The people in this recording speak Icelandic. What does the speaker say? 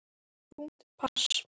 Þungt pass.